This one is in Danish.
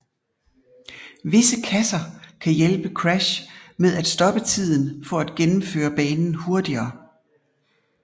Visse kasser kan hjælpe Crash med at stoppe tiden for at gennemføre banen hurtigere